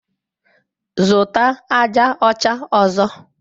Zụta aja ọcha ọzọ!